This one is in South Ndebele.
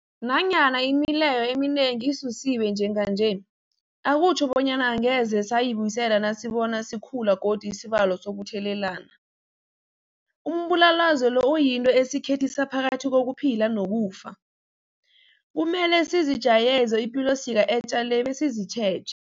Nanyana imileyo eminengi isusiwe njenganje, akutjho bonyana angeze sayibuyisela nasibona sikhula godu isibalo sokuthelelana. Umbulalazwe lo uyinto esikhethisa phakathi kokuphila nokufa. Kumele sizijayeze ipilosiko etja le besizitjheje.